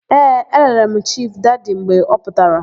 Ee, elere m Chifu Dadi mgbe ọ pụtara.